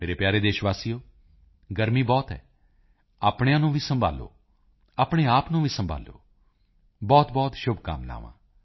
ਮੇਰੇ ਪਿਆਰੇ ਦੇਸ਼ ਵਾਸੀਓ ਗਰਮੀ ਬਹੁਤ ਹੈ ਆਪਣਿਆਂ ਨੂੰ ਵੀ ਸੰਭਾਲੋ ਆਪਣੇ ਆਪ ਨੂੰ ਵੀ ਸੰਭਾਲੋ ਬਹੁਤਬਹੁਤ ਸ਼ੁਭਕਾਮਨਾਵਾਂ